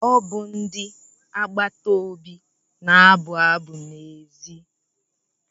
Ọ bụ ndị agbata obi na-abụ abụ n'èzí.